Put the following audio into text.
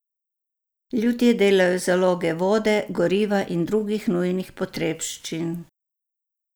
Ljudje delajo zaloge vode, goriva in drugih nujnih potrebščin.